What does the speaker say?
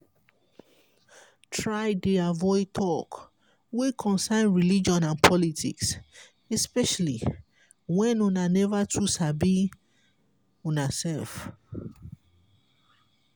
try dey avoid talk wey concern religion and politics especially when una never too sabi una self